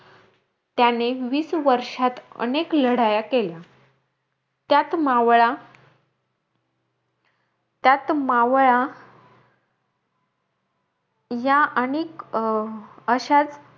त्याने वीस वर्षात अनेक लढाया केल्या. त्यात मावळा त्यात मावळा या अनेक अं अशाचं,